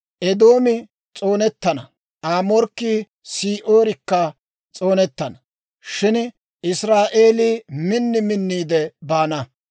Eedoomi s'oonettana; Aa morkkii Se'iirikka s'oonettana; Shin Israa'eelii min minniide baana.